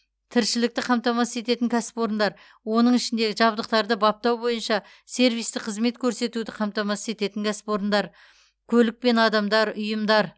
тіршілікті қамтамасыз ететін кәсіпорындар оның ішінде жабдықтарды баптау бойынша сервистік қызмет көрсетуді қамтамасыз ететін кәсіпорындар көлік пен адамдар ұйымдар